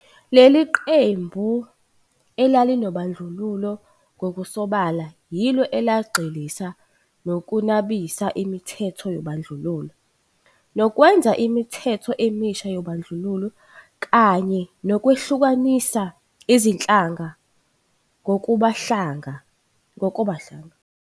Leli qembu elalinobandlululo Ngokusobala, yilo elagxilisa nokunabisa imithetho yobandlululo nokwenza imithetho emisha yobandlululo kanye nokwehlukanisa izinhlanga ngokobuhlanga.